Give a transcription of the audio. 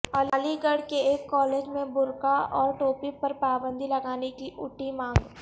علی گڑھ کے ایک کالج میں برقعہ اور ٹوپی پرپابندی لگانے کی اٹھی مانگ